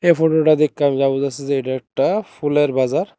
এই ফটোটা দেইখ্যা আমি যে এইটা একটা ফুলের বাজার।